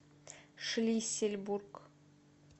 шлиссельбург